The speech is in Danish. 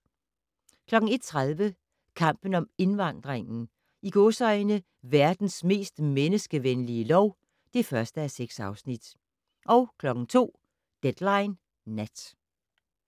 01:30: Kampen om indvandringen - "Verdens mest menneskevenlige lov" (1:6) 02:00: Deadline Nat